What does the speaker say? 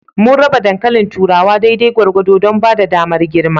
Mun raba dankalin turawa daidai gwargwado don ba da damar girma.